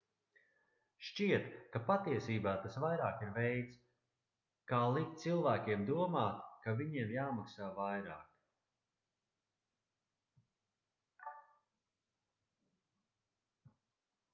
šķiet ka patiesībā tas vairāk ir veids ka likt cilvēkiem domāt ka viņiem jāmaksā vairāk